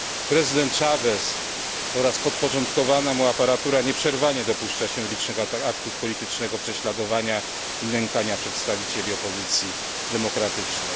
Prezydent Chavez oraz podporządkowana mu aparatura nieprzerwanie dopuszczają się licznych aktów politycznego prześladowania i nękania przedstawicieli opozycji demokratycznej.